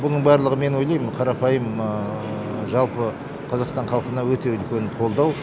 бұның барлығы мен ойлаймын қарапайым жалпы қазақстан халқына өте үлкен қолдау